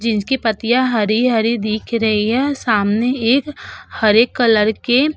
जिनकी पत्तिया हरी-हरी दिख रही है सामने एक हरे कलर के --